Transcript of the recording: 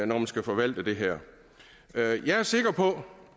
man skal forvalte det her jeg er sikker på